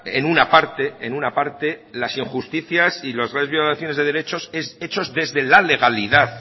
en una parte en una parte las injusticias y las graves violaciones de derechos hechos desde la legalidad